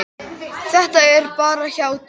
Þetta er bara hjátrú.